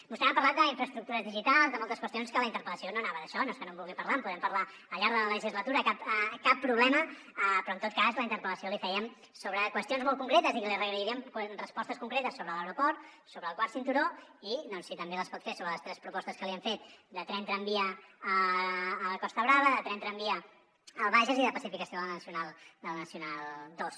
vostè m’ha parlat d’infraestructures digitals de moltes qüestions que la interpel·lació no anava d’això no és que no en vulgui parlar en podem parlar al llarg de la legislatura cap problema però en tot cas la interpel·lació l’hi fèiem sobre qüestions molt concretes i que li agrairíem respostes concretes sobre l’aeroport sobre el quart cinturó i si també les pot fer sobre les tres propostes que li hem fet de tren tramvia a la costa brava de tren tramvia al bages i de pacificació de la nacional ii